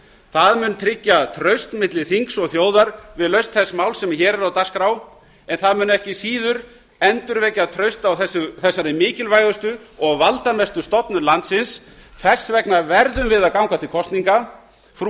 það mun tryggja traust milli þings og þjóðar við lausn þess máls sem hér er á dagskrá en það mun ekki síður endurvekja traust á þessari mikilvægustu og valdamestu stofnun landsins þess vegna verðum við að ganga til kosninga frú